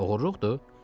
Oğurluqdur?